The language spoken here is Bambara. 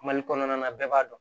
Mali kɔnɔna na bɛɛ b'a dɔn